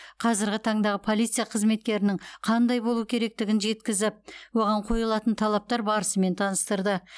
қазіргі таңдағы полиция қызметкерінің қандай болу керектігін жеткізіп оған қойылатын талаптар барысымен таныстырды